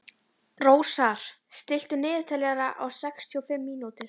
Rósar, stilltu niðurteljara á sextíu og fimm mínútur.